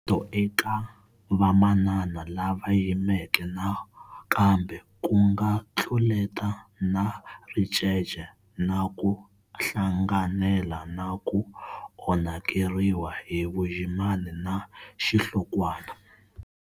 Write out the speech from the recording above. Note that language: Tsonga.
Ntluleto eka vamanana lava yimeke nakambe ku nga tluleta na ricece na ku hlanganela na ku onhakeriwa hi vuyimani na xihlokwana.